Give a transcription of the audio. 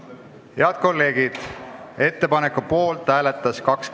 Eelnõu 755 on esimesel lugemisel tagasi lükatud ning langeb Riigikogu menetlusest välja.